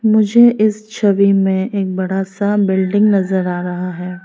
मुझे इस छवि में एक बड़ा सा बिल्डिंग नजर आ रहा है।